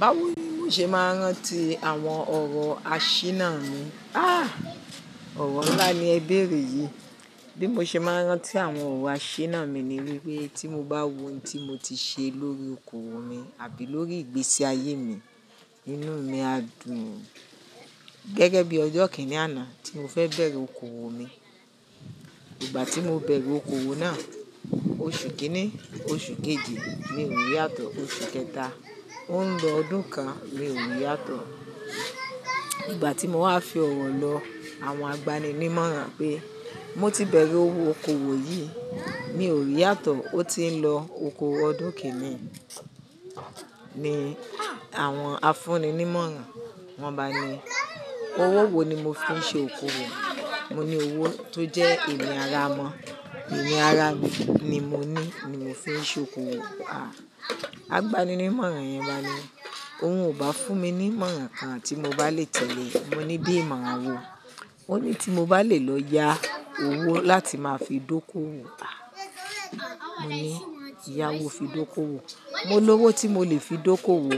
Báwo ni mo ṣe máa rántí àwọn ọ̀rọ̀ àṣìná mi? Ah! Ọ̀rọ̀ ńlá ni Ẹ béèrè yìí. Bí mo ṣe máa rántí àwọn ọ̀rọ̀ àṣìná mi ni wípé tí mo bá wo ohun tí mo ti ṣe lórí oko oòwò mi àbí lórí ìgbésí ayé mi, inú mi á dùn. Gẹ́gẹ́ bí ọjọ́ kìíní àná tí mo fẹ́ bẹ̀rẹ̀ oko oòwò mi. Ìgbà tí mo bẹ̀rẹ̀ oko oòwò náà, oṣù kìíní, oṣù kejì mi ò rí yàtọ̀, oṣù kẹta, ó ń lọ ọdún kan, mi ò rí yàtọ̀. Ìgbà tí mo wá fi ọ̀wọ̀ lọ, àwọn agbani-ní mọ̀ràn pé mó ti bẹ̀rẹ̀ owó oko oòwò yìí, mi ò rí yàtọ̀, ó ti ń lọ oko ọdún kìíní. Ni àwọn afúnni-ní mọ̀ràn, wọ́n bá ni, "Owó wo ni mo fi ń ṣe oko oòwò?" Mo ní, "Owó tó jẹ́ ènìyàn ara mọ́, ènìyàn ara mi ni mo ní, ni mo fi ń ṣe oko òowò." Àh! Àgbani-ní mọ̀ràn yẹn bá mi ní, "Òun ò bá fún mi ní mọ̀ràn kan tí mo bá lè tẹ̀lé." Mo ní, bí imoran máa wọ? Ó ní, "Tí mo bá lè lọ yá owó láti máa fi dókòwò." Àh! Mo ní, "Yá wo fi dókòowò? Mo ní owó tí mo lè fi dókòwò."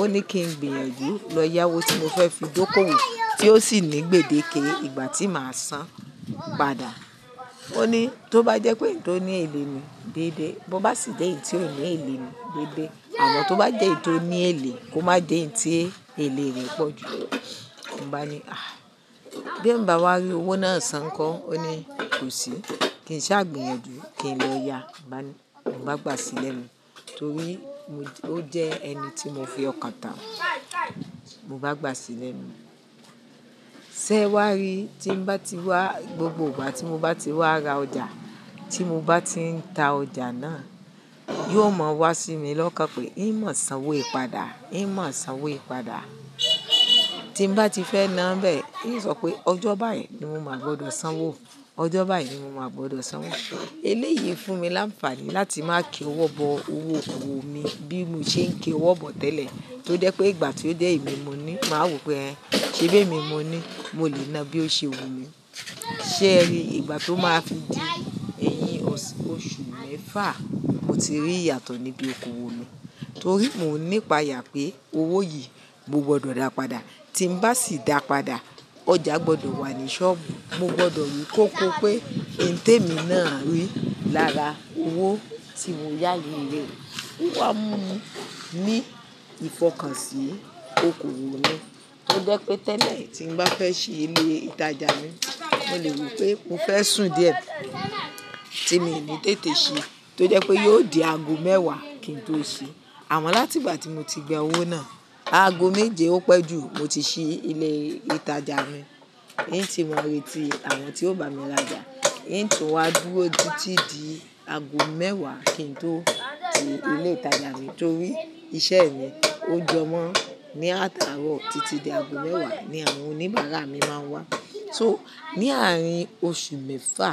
Ó ní kí n gbìyànjú lọ yá owó tí mo fẹ́ fi dókòwò tí ó sì ní gbèdéke ìgbà tí màá san. Padà. Ó ní, "Tó bá jẹ́ pé eǹ to ní èlé ni, dédé. Bo bá sì jẹ́ pe eǹ tí ò ní èlé ni, dédé. Àmọ́ tó bá jẹ́ eǹ to ní èlé kó má jẹ́ eǹ tí èlé rẹ̀ pọ̀ jù." Mo bá ni, "Àh! Bí hiń bá wá rí owó náà san ńkọ́?" Ó ní, "Kò sí. Kí n sá gbìyànjú kí n lọ yá." Mo bá ni, "Mo bá gbà sí lẹ̀nu torí ó jẹ́ ẹni tí mo fi ọkàn tán." Mo bá gbà sílẹ̀ mi. Sẹ́ wá rí tí n bá ti wá gbogbo ìgbà tí mo bá ti wá ra ọjà, tí mo bá ti ń ta ọjà náà, yóò mọ wá sí mi lọ́kàn pé, "hin mọ̀ sán owó yi padà? Ìyí mọ̀ sá wó ìpadà?" Tí n bá ti fẹ́ ná n bẹ́ẹ̀, hin sọ pé, "Ọjọ́ báyìí ni mo máa gbọdọ̀ san wó. Ọjọ́ báyìí ni mo máa gbọdọ̀ san wó." Eléyìí fún mi láǹfààní láti máa ki owọ́ bọ owó oko oòwò mi bí mo ṣe ń kiwọ́ bọ tẹ́lẹ̀. Tó jẹ́ pé ìgbà tí ó jé emi ni mo ní, màá wo pé, "Ẹ̀h! Ṣé bí emí mo ní, mo lè ná bí ó ṣe wù mí?" Sẹ́ rí ìgbà tó máa fi di èyín oṣù mẹ́fà, mo ti rí ìyàtọ̀ níbi oko oòwò mi. Torí mo nípa yà pé owó yìí mo gbọdọ̀ dá padà. Tí n bá sì dá padà, ọjà gbọdọ̀ wà ní ṣọ́ọ̀bù. Mo gbọdọ̀ rí kóko pé ǹtẹ̀ mi náà ń rí lára owó tí mo yá yii rẹ̀. Ó wá mú mi ní ìfọkànsì oko oòwò mi. Ó jẹ́ pé tẹ́lẹ̀ tí n bá fẹ́ ṣe ilé ìtajà mi, mo lè wí pé mo fẹ́ sùn díẹ̀ tí mi ni tètè ṣi tó jẹ́ pé yóò di ago mẹ́wàá kí n tó ṣi. Àmọ́ láti ìgbà tí mo ti gba owó náà, ago méje ó pẹ́ jù mo ti ṣi ilé ìtajà mi. Hín tí mo retí àwọn tí ó bá mi rajà, hin tu wá dúró titi di ago mẹ́wàá kí n tó tii ilé ìtajà mi torí iṣẹ́ mi ó jọmọ́ ní àtàarọ̀ títí di ago mẹ́wàá ni àwọn oníbàárà mi máa ń wá. So ní àárín oṣù mẹ́fà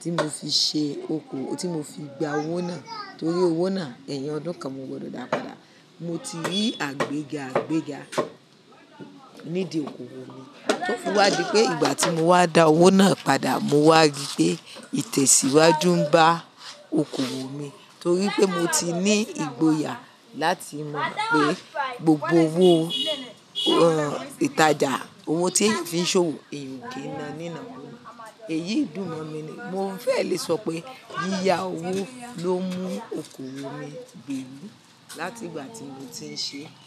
tí mo fi ṣe oko-- tí mo fi gba owó náà torí owó náà, ẹ̀yin ọdún kan mo gbọdọ̀ dá padà. Mo ti rí àgbéga àgbéga nídi oko oòwò mi. Ó wá di pé ìgbà tí mo wá da owó náà padà, mo wá rí pé ìtẹ̀síwájú ń bá oko oòwò mi torí pé mo ti ní ìgboyà láti mọ̀ pé gbogbo owó ìtajà, owó tí ń fi ń ṣòwò eyan o kì í na ní ìnákuna. Èyí dùn mọ́ mi ni. Mo fẹ́ lè sọ pé yíyá owó ló mú oko oòwò mi gbémi láti ìgbà tí mo ti ń ṣe é.